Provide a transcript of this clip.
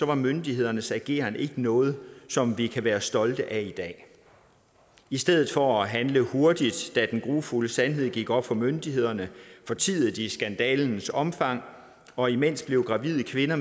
var myndighedernes ageren ikke noget som vi kan være stolte af i dag i stedet for at handle hurtigt da den grufulde sandhed gik op for myndighederne fortiede de skandalens omfang og imens blev gravide kvinder